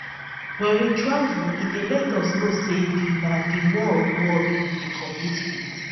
when we travel e dey let us know sey di na di world world we dey compete with